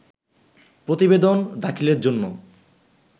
প্রতিবেদন দাখিলের জন্য